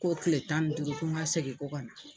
Ko tile tan ni duuru ko n ka segin ko kana.